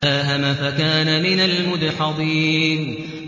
فَسَاهَمَ فَكَانَ مِنَ الْمُدْحَضِينَ